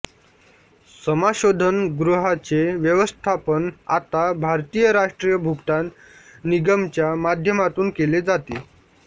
समाशोधन गृहाचे व्यवस्थापन आता भारतीय राष्ट्रीय भुगतान निगमच्या माध्यमातून केले जाते